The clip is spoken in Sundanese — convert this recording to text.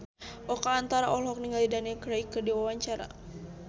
Oka Antara olohok ningali Daniel Craig keur diwawancara